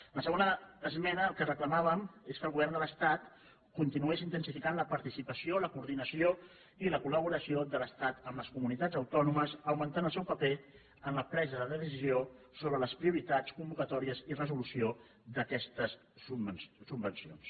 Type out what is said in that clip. en la segona esmena el que reclamàvem és que el go·vern de l’estat continués intensificant la participació la coordinació i la colmunitats autònomes augmentant el seu paper en la presa de decisió sobre les prioritats convocatòries i resolució d’aquestes subvencions